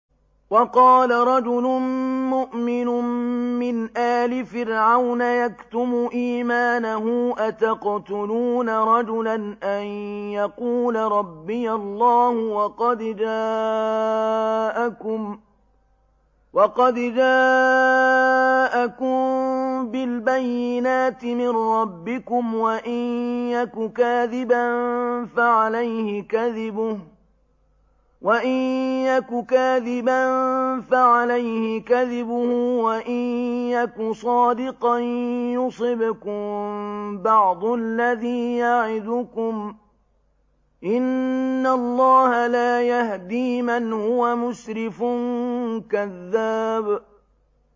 وَقَالَ رَجُلٌ مُّؤْمِنٌ مِّنْ آلِ فِرْعَوْنَ يَكْتُمُ إِيمَانَهُ أَتَقْتُلُونَ رَجُلًا أَن يَقُولَ رَبِّيَ اللَّهُ وَقَدْ جَاءَكُم بِالْبَيِّنَاتِ مِن رَّبِّكُمْ ۖ وَإِن يَكُ كَاذِبًا فَعَلَيْهِ كَذِبُهُ ۖ وَإِن يَكُ صَادِقًا يُصِبْكُم بَعْضُ الَّذِي يَعِدُكُمْ ۖ إِنَّ اللَّهَ لَا يَهْدِي مَنْ هُوَ مُسْرِفٌ كَذَّابٌ